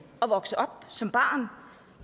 at vokse op som barn